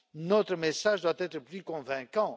Notre message doit être plus convaincant.